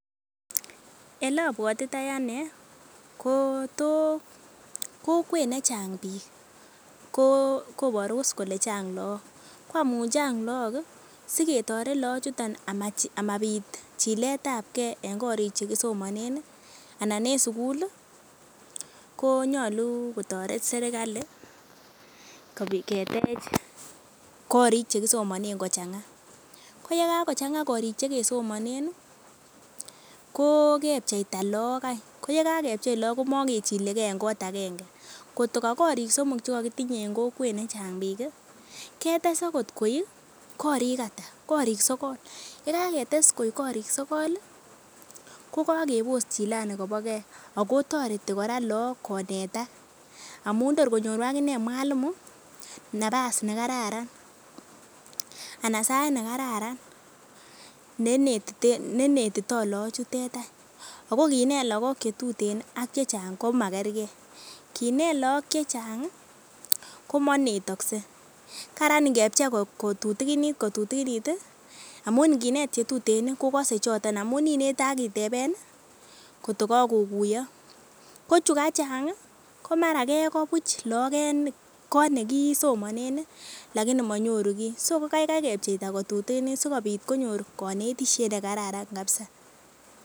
Ele abuatitoi anee kokwet ne chang bik koboru kole chang logog, ko amuun chang logog ko siketoret laachuton ama bit chiletabke en korik chekisomanen anan en sugul ih konyolu kotoret serigali ketech korik chekisomanen ko chang'a. Ko ye kaago chang'a korik chekesomanen ko kepcheita laag eny ko ye kakepcheta laag koma ke chilege en kot agenge kot ko Kya korik somok che kokitinye en kokwet ne cheng bik ih ketes agot koek korik ata, korik sogol yekaketes koek korik sogol ih kokakebos kora chilani ko bo ke ako kakebos kora laag konetak amun tor konyoru aginee mwalimu nabas nekararan anan sait nekararan neinetito laachutet eny. Ako kinet laag chechang ak chetuten ko makerge , kinet laag chechang komainetasek, Karan ingebchei kotutiginit ih amuun inginet chetuten kokase choton amuun inete akiteben ih kot ko kakokuyo. Ko chukachang mara kekoo buch laag en kot nekisomanen laini manyoru gi so kaikai kepcheita kotutiginit sikonyor konetisiet nekararan kabisa